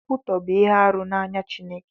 Nkwụtọ bu ihe arụ n'anya Chineke.